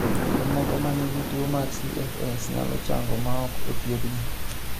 Jomoko ma nigi tuwo mar CFS nyalo chango maok othiedhgi.